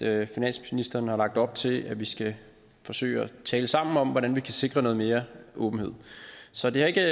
at finansministeren har lagt op til at vi skal forsøge at tale sammen om hvordan vi kan sikre noget mere åbenhed så det har ikke